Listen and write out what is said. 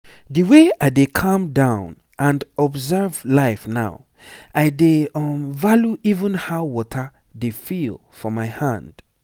the way i dey calm down and observe life now i dey um value even how water dey feel for my hand.